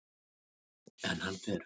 En hann fer.